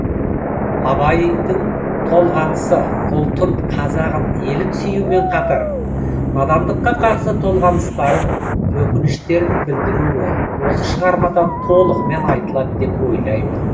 абайдың толғанысы ұлтын қазағын елін сүюімен қатар надандыққа қарсы толғаныстарын өкініштерін білдіруі осы шығармада толығымен айтылады деп ойлаймын